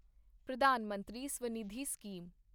Pradhan Mantri Svanidhi scheme